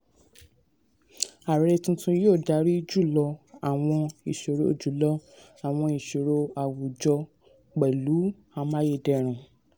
ààrẹ tuntun yóò dárí jùlọ àwọn ìṣòro jùlọ àwọn ìṣòro àwùjọ pẹ̀lú amáyédẹrùn.